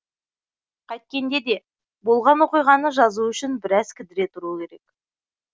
қайткенде де болған оқиғаны жазу үшін біраз кідіре тұру керек